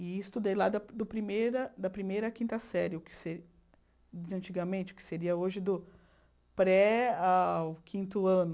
E estudei lá do primeira da primeira à quinta série, antigamente, o que seria hoje do pré ao quinto ano.